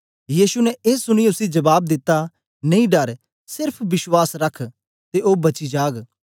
यीशु ने ए सुनीयै उसी जबाब दिता नेई डर सेर्फ बश्वास रख ते ओ बची जाग